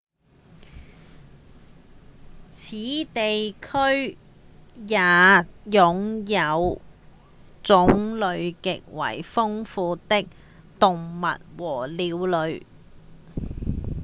此地區也擁有種類極為豐富的動物和鳥類